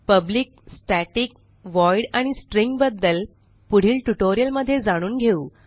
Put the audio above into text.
public static void आणि string arg बद्दल पुढील ट्युटोरियलमध्ये जाणून घेऊ